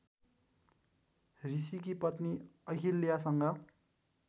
ऋषिकी पत्नी अहिल्यासँग